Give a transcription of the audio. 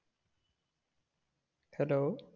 hello